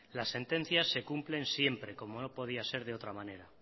las sentencias se cumplen siempre como no podía ser de otra manera